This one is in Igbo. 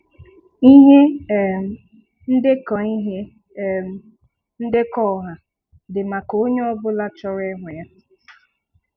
Ihe um ndekọ Ihe um ndekọ ọha dị maka onye ọ bụla chọrọ ịhụ ha.